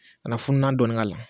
A na funan dɔɔnin k'ala